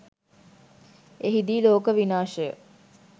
එහිදී ලෝක විනාශය